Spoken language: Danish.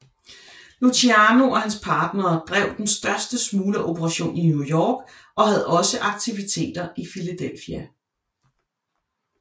Luciano og hans partnere drev den største smulgeroperation i New York og havde også aktiviteter i Philadelphia